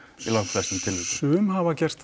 flestum tilvikum sum hafa gert